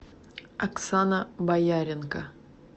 оксана бояренко